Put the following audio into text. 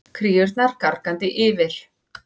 Kríurnar gargandi yfir.